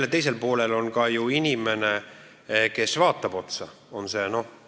Ning teisel poolel on ka ju inimene, kes vaatab sulle otsa.